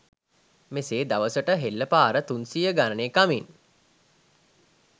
මෙසේ දවසට හෙල්ලපාර තුන්සියය ගණනේ කමින්